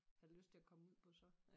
Have lyst til at komme ud på så